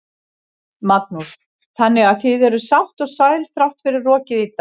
Magnús: Þannig að þið eruð sátt og sæl þrátt fyrir rokið í dag?